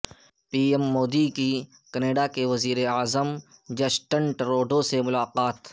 پی ایم مودی کی کینڈا وزیر اعظم جسٹن ٹروڈو سے ملاقات